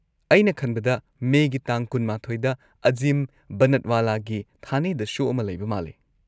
ꯑꯩꯅ ꯈꯟꯕꯗ ꯃꯦꯒꯤ ꯇꯥꯡ ꯲꯱ꯗ ꯑꯖꯤꯝ ꯕꯅꯠꯋꯥꯂꯥꯒꯤ ꯊꯥꯅꯦꯗ ꯁꯣ ꯑꯃ ꯂꯩꯕ ꯃꯥꯜꯂꯤ꯫